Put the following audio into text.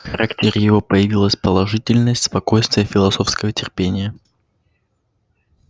в характере его появились положительность спокойствие философское терпение